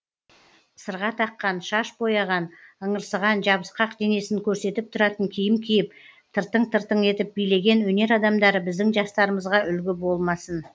сырға таққан шаш бояған ыңырсыған жабысқақ денесін көрсетіп тұратын киім киіп тыртың тыртың етіп билеген өнер адамдары біздің жастарымызға үлгі болмасын